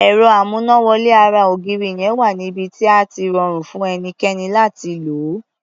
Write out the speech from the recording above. Ẹ̀rọ amúnáwọlé ara ògiri yẹn wà níbi tí á ti rọrùn fún ẹnikẹ́ni láti lò ó.